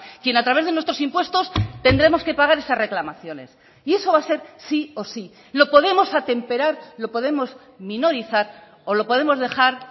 quien a través de nuestros impuestos tendremos que pagar esas reclamaciones y eso va a ser sí o sí lo podemos atemperar lo podemos minorizar o lo podemos dejar